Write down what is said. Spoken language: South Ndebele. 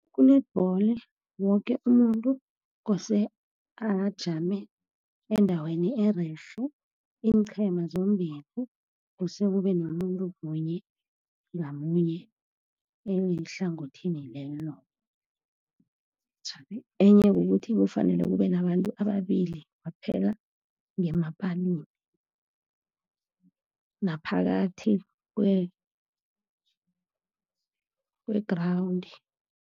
Ku-netball, woke umuntu kose ajame endaweni ererhe. Iinqhema zombili kose kube nomuntu munye ngamunye ehlangothini lelo. Enye kukuthi kufanele kube nabantu ababili kwaphela ngemapalini, naphakathi kwe-ground.